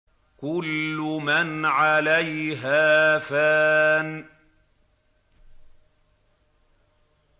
كُلُّ مَنْ عَلَيْهَا فَانٍ